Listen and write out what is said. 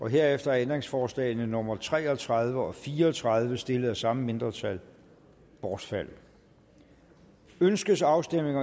herefter er ændringsforslagene nummer tre og tredive og fire og tredive stillet af samme mindretal bortfaldet ønskes afstemning